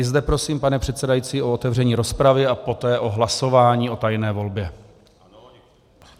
I zde prosím, pane předsedající, o otevření rozpravy a poté o hlasování o tajné volbě.